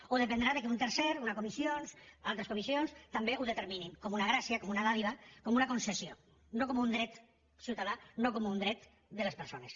o dependrà del fet que un tercer una comissió altres comissions també ho determinin com una gràcia com una dádiva com una concessió no com un dret ciutadà no com un dret de les persones